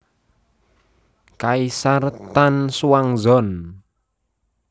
Kaisar Tang Xuanzong